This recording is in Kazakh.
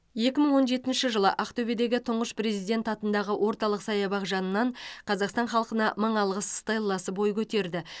екі мың он жетінші жылы ақтөбедегі тұңғыш президент атындағы орталық саябақ жанынан қазақстан халқына мың алғыс стелласы бой көтерді